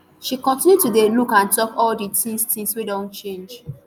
she continue to dey look and tok all di tins tins wey don change